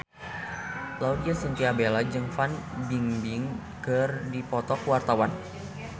Laudya Chintya Bella jeung Fan Bingbing keur dipoto ku wartawan